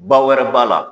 Ba wɛrɛ b'a la